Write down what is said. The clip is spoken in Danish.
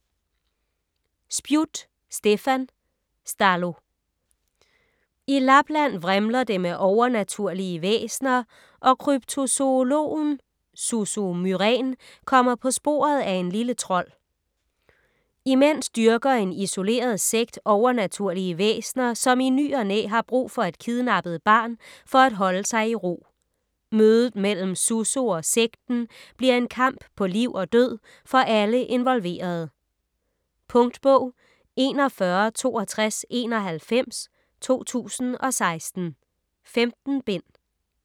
Spjut, Stefan: Stallo I Lapland vrimler det med overnaturlige væsener, og kryptozoologen Susso Myrén kommer på sporet af en lille trold. Imens dyrker en isoleret sekt overnaturlige væsener, som i ny og næ har brug for et kidnappet barn for at holde sig i ro. Mødet mellem Susso og sekten bliver en kamp på liv og død for alle involverede. Punktbog 416291 2016. 15 bind.